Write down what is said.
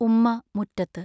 ഉമ്മാ മുറ്റത്ത്.